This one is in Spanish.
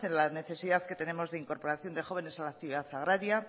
la necesidad que tenemos de incorporación de jóvenes a la actividad agraria